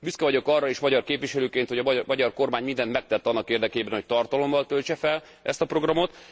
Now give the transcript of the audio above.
Büszke vagyok arra is magyar képviselőként, hogy a magyar kormány mindent megtett annak érdekében, hogy tartalommal töltse fel ezt a programot.